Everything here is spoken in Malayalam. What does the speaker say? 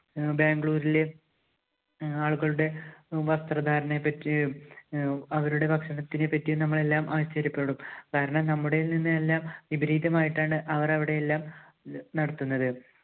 അഹ് ബാംഗ്ലൂരിലെ അഹ് ആളുകളുടെ വസ്ത്രധാരണത്തെ പറ്റിയും അഹ് അവരുടെ ഭക്ഷണത്തിനെ പറ്റിയും നമ്മൾ എല്ലാം ആശ്ചര്യപ്പെടും. കാരണം നമ്മുടേതിൽനിന്നെല്ലാം വിപരീതമായിട്ടാണ് അവർ അവിടെയെല്ലാം നടത്തുന്നത്.